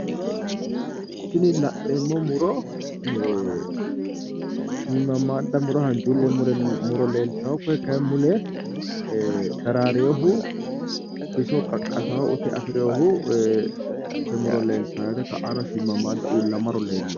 Tini la'neemmo muro shiimmammaadda muro hanjuulle muro leeltawo koye kaye mule daraareyoohu biso qaqqasaa ute afireyoohu muro leltaawo yaate ka'aano shiimmammaadda uullamaro leellawo.